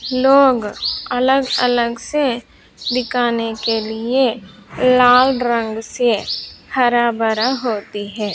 लोग अलग अलग से दिकाने के लिए लाल रंग से हरा बरा होती है।